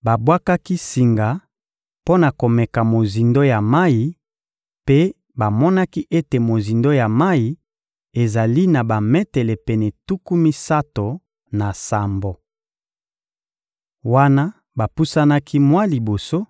babwakaki singa mpo na komeka mozindo ya mayi mpe bamonaki ete mozindo ya mayi ezali na bametele pene tuku misato na sambo. Wana bapusanaki mwa liboso,